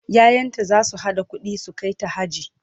ƴaƴanta zasu haɗa ƙuɗi su kaita haji